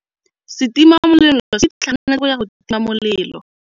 Setima molelô se itlhaganêtse go ya go tima molelô.